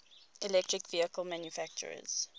electric vehicle manufacturers